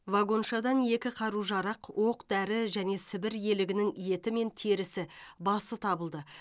вагоншадан екі қару жарақ оқ дәрі және сібір елігінің еті мен терісі басы табылды